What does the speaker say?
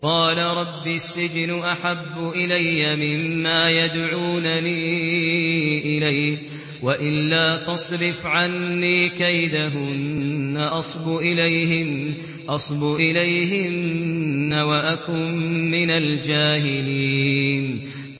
قَالَ رَبِّ السِّجْنُ أَحَبُّ إِلَيَّ مِمَّا يَدْعُونَنِي إِلَيْهِ ۖ وَإِلَّا تَصْرِفْ عَنِّي كَيْدَهُنَّ أَصْبُ إِلَيْهِنَّ وَأَكُن مِّنَ الْجَاهِلِينَ